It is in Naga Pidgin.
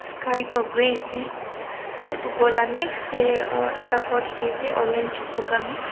sky toh grey ase aro edu ghor la next tae ekta ghor dikhiase orange buka mix --